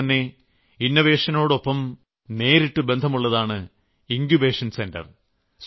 അതുപോലെതന്നെ ഇന്നോവേഷനോടൊപ്പം നേരിട്ടു ബന്ധമുള്ളതാണ് ഇങ്കുബേഷൻ സെന്റർ